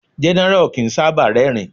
General o kín sábà rerin